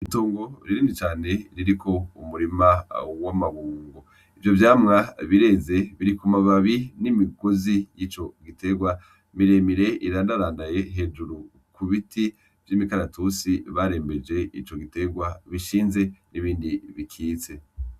Itongo rinini cane ririmwo umurima w'amabungo. Ivyo vyamwa bireze biri kumababi n'imigozi y'ico gitegwa miremire irandarandaye hejuru kubiti vy'imikaratusi barembeje ico gitegwa bishinze n'ibindi bikitse.